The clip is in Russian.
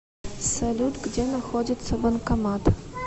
салют где находится банкомат